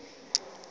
ukwa yo olo